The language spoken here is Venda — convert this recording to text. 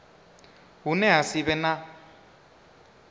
hune ha si vhe na